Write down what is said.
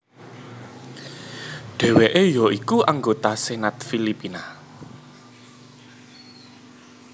Dheweke ya iku anggota Senat Filipina